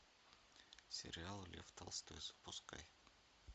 сериал лев толстой запускай